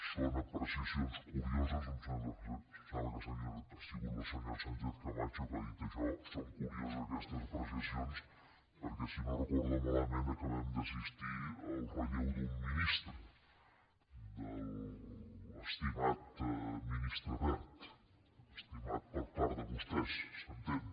son apreciacions curioses em sembla que ha sigut la senyora sánchez camacho que ha dit això són curioses aquestes apreciacions perquè si no ho recordo malament acabem d’assistir al relleu d’un ministre de l’estimat ministre wert estimat per part de vostès s’entén